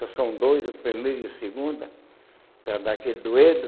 Só são dois, o primeiro e o segundo, para dar aquele dueto.